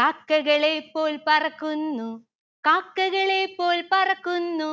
കാക്കകളെ പോൽ പറക്കുന്നു കാക്കകളെ പോൽ പറക്കുന്നു